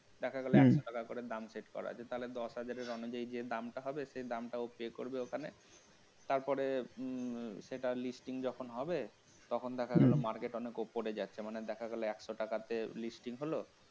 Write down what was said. দেখা গেল একশ টাকা করে যে দাম set করা আছে তাহলে যে দামটা হবে সে দামটাও বের হবে সেই দামটা pay করবে ওখানে তারপরের উম সেটার listing যখন হবে তখন দেখা গেল market অনেক উপরে যাচ্ছে মানে দেখা গেল একশো টাকা থেকে listing হল